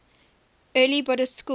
early buddhist schools